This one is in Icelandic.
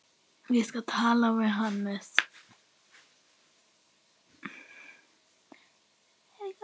Ég skal tala við Hannes.